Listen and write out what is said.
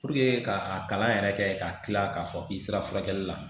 ka a kalan yɛrɛ kɛ ka tila k'a fɔ k'i sera furakɛli la